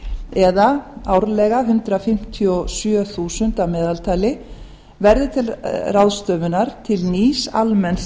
eða árlega hundrað fimmtíu og sjö þúsund að meðaltali verði til ráðstöfunar til nýs almenns